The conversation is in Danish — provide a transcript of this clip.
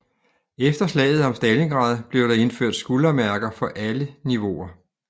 Efter slaget om Stalingrad blev der indført skuldermærker for alle niveauer